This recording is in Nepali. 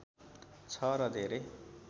छ र धेरै